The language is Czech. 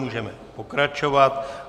Můžeme pokračovat.